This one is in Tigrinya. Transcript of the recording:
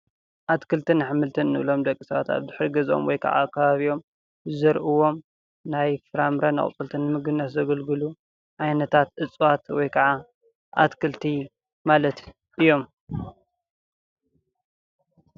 ኣትክልትን ኣሕምልትን እንብሎም ሓደ ደቂ ሰባት ኣብ ድሕሪ ገዝኦም ወይ ከዓ ከባቢኦም ዝዘርእዎም ናይ ፍራምረን ኣቁፅልትን ንምግብነት ዘገልግሉ ዓይነታት እፅዋት ወይ ከዓ ኣትክልቲ ማለት እዮም፡፡